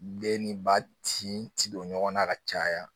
Den ni ba ci don ɲɔgɔnna ka caya